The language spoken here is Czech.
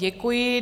Děkuji.